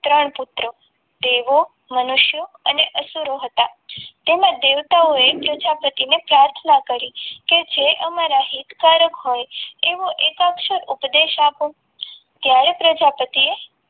ત્રણ પુત્રો દેવો મનુષ્ય અને અસુરો હતા. તેમાં દેવતાઓએ પ્રજાપતિને પ્રાર્થના કરી કે જે અમારા હિતકારક હોય ઉપદેશ આપો ત્યારે પ્રજાપતિએ